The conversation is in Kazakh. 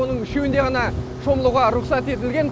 оның үшеуінде ғана шомылуға рұқсат етілген